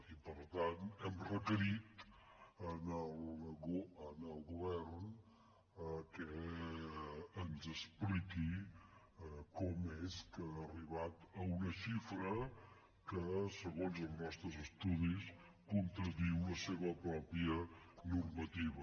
i per tant hem requerit al govern que ens expliqui com és que ha arribat a una xifra que segons els nostres estudis contradiu la seva pròpia normativa